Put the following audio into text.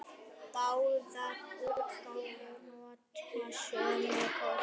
Báðar útgáfur nota sömu kort.